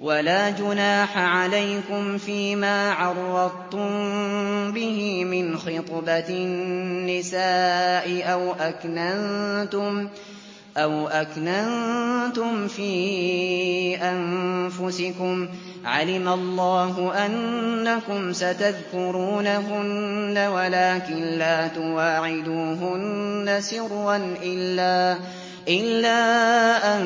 وَلَا جُنَاحَ عَلَيْكُمْ فِيمَا عَرَّضْتُم بِهِ مِنْ خِطْبَةِ النِّسَاءِ أَوْ أَكْنَنتُمْ فِي أَنفُسِكُمْ ۚ عَلِمَ اللَّهُ أَنَّكُمْ سَتَذْكُرُونَهُنَّ وَلَٰكِن لَّا تُوَاعِدُوهُنَّ سِرًّا إِلَّا أَن